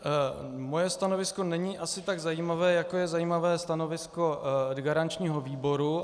Moje stanovisko není asi tak zajímavé, jako je zajímavé stanovisko garančního výboru.